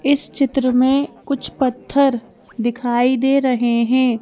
इस चित्र में कुछ पत्थर दिखाई दे रहे हैं।